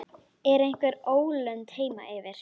Er einhver ólund heima fyrir?